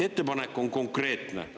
Ettepanek on konkreetne.